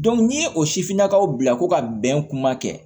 n'i ye o sifinnakaw bila ko ka bɛn kuma kɛ